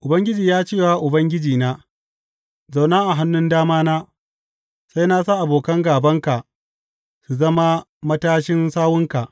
Ubangiji ya ce wa Ubangijina, Zauna a hannun damana, sai na sa abokan gābanka su zama matashin sawunka.